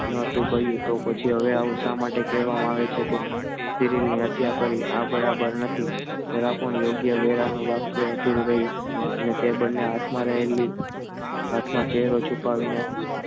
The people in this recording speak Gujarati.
નતું કહ્યું તો પછી હવે શા માટે કહેવામાં આવે છે કે શરીરની હત્યા કરી આ બરાબર નથી જરા પણ યોગ્ય વેળા નું વાક્ય અધૂરું રહ્યું અને તે બંને હાથમાં રહેલી હાથમાં ચહેરો છુપાવીને